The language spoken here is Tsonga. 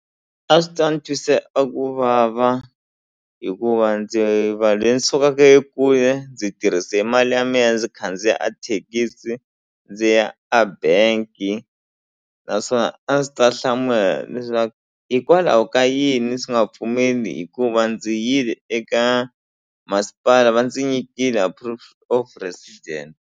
A swi ta ni twisa a ku vava hikuva ndzi va lweyi ni sukaka e kule ndzi tirhise mali ya mina ndzi khandziya a thekisi ndzi ya a bank-i naswona a ndzi ta hlamula leswaku hikwalaho ka yini swi nga pfumeli hikuva ndzi yile eka masipala va ndzi nyikile a proof of resident.